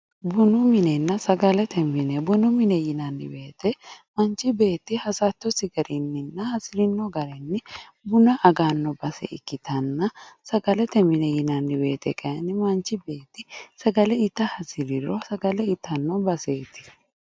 Bunu minenna sagalete mine bunu mine yinannihu manchi beetti hasattosi garinni buna agnanohonna sagalete mine yinannihu sagale itanno baseeti